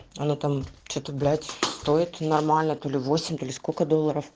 она там че-то блять стоит нормально то ли восемь то ли сколько долларов